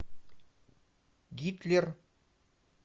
гитлер